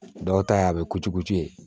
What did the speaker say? Dɔw ta ye a bɛ kocu ye